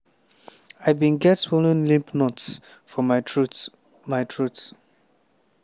“i bin get swollen lymph nodes for my throat. my throat.